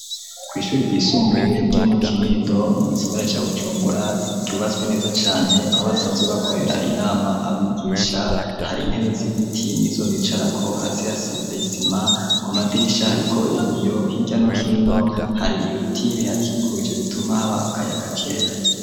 Ku ishuri ryisumbuye ryo mu kinindo mu gisagara ca Bujumbura ryubatswe neza cane aho basanzwe bakorera inama abigisha hari intebe z'ibiti nizo bicarako hasi hasize isima ku madirisha hariko ibiyo hirya no hino hari ibiti bihakikuje bituma haba akayaga keza.